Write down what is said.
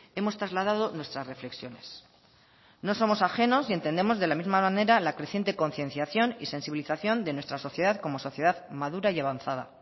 hemos trasladado nuestras reflexiones no somos ajenos y entendemos de la misma manera la creciente concienciación y sensibilización de nuestra sociedad como sociedad madura y avanzada